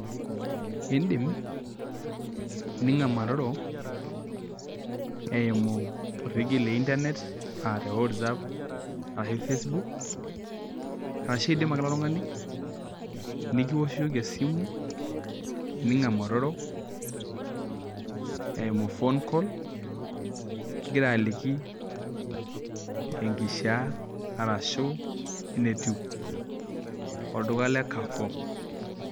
Iidim ninkamaroro eimu orekie le internet aa Whatsapp ashuu Facebook ashu idim ake ilo tungani nikioshoki esimu ninkamaroro eimu phone call kigira aliki inkishaa arashu enetiu olduka le kafo.